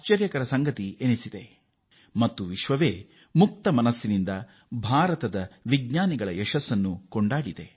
ಭಾರತದ ಮತ್ತು ಭಾರತೀಯ ವಿಜ್ಞಾನಿಗಳ ಈ ಸಾಧನೆಯನ್ನು ವಿಶ್ವ ಹೃದಯಪೂರ್ವಕವಾಗಿ ಶ್ಲಾಘಿಸಿದೆ